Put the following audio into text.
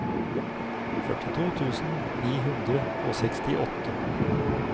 førtito tusen ni hundre og sekstiåtte